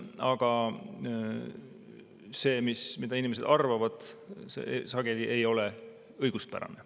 Aga see, mida inimesed arvavad, sageli ei ole õiguspärane.